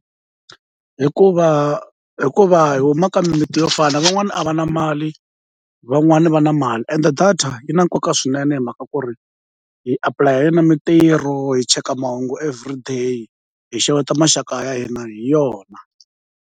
Hikuva hikuva hi huma ka mimiti yo fana van'wani a va na mali van'wani va na mali ende data yi na nkoka swinene hi mhaka ku ri hi apulaya hi yona mintirho hi cheka mahungu everyday hi xeweta maxaka ya hina hi yona.